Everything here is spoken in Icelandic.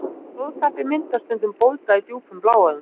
Blóðtappi myndast stundum sem bólga í djúpum bláæðum.